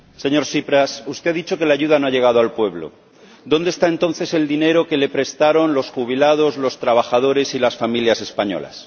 Señor Presidente, señor Tsipras, usted ha dicho que la ayuda no ha llegado al pueblo. ¿Dónde está entonces el dinero que le prestaron los jubilados, los trabajadores y las familias españolas?